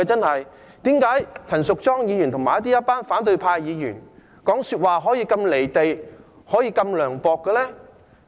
為何陳淑莊議員和一群反對派議員說話可以如此離地、如此涼薄呢？